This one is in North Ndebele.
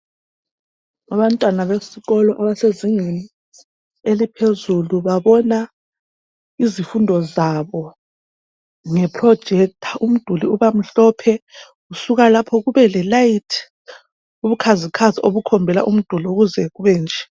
Abantwana besikolo abasezingeni eliphezulu babona izifundo zabo nge "projector" umduli ubamhophe kusuka lapho kube le layithi ,ubukhazikhazi obukhombela umduli ukuze kube nje .